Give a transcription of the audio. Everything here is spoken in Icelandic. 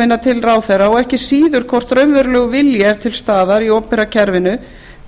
minnar til ráðherra og ekki síður hvort raunverulegur vilji er til staðar í opinbera kerfinu